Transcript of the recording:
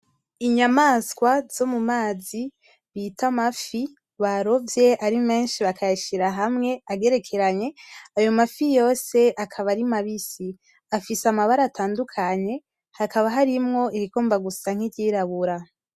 Inyamaswa zo mumazi bita amafi barovye ari menshi bakayashira hamwe agerekeranye, ayo mafi yose akaba ari mabisi, afise amabara atandukanye hakaba harimwo irigomba gusa nkiryirabura.